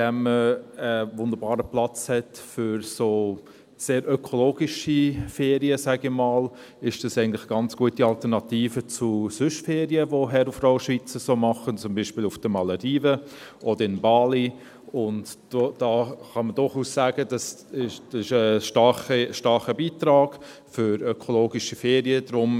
Indem man einen wunderbaren Platz für sehr ökologische Ferien hat – sage ich mal –, ist es eine ganz gute Alternative zu sonstigen Ferien, die Herr und Frau Schweizer so machen, zum Beispiel auf den Malediven oder in Bali, und man kann durchaus sagen, dass dies ein starker Beitrag für ökologische Ferien ist.